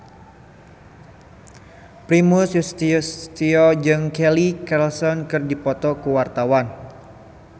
Primus Yustisio jeung Kelly Clarkson keur dipoto ku wartawan